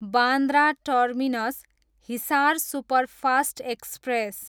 Bandra terminus, Hisar superfast express